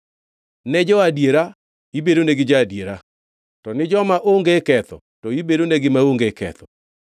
“Ne jo-adiera, ibedonegi ja-adiera, to ni joma onge ketho, to ibedonegi maonge ketho,